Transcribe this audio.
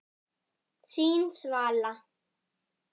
Þín Svala.